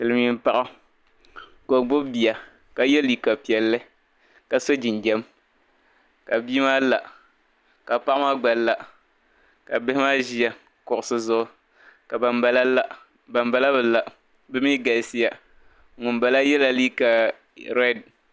Silimiim paɣa ka o gbibi bia ka ye liika piɛlli ka so jinjam ka bia maa la ka paɣa maa gba la ka bihi maa ʒia kuɣisi zuɣu ka bambala la bambala bi la bɛ mi galisiya ŋumbala yɛla liika rɛdi.